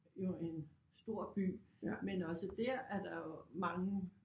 Jo en stor by men også dér er der jo mange